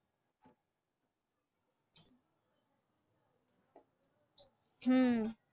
হম